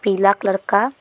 पीला कलर का है।